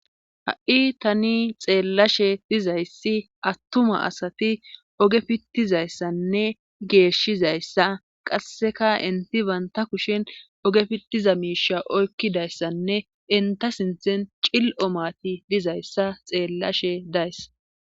Ha'i tani xeellashe dizayssi attuma asati oge pittizayssanne geeshizayssa qasseka inti banta kushen oge fittiza miisha oykkidayssanne inta sinthen cil'o mati dizayssa xeellashe days